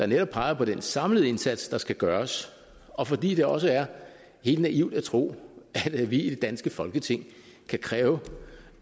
netop peger på den samlede indsats der skal gøres og fordi det også er helt naivt at tro at vi i det danske folketing kan kræve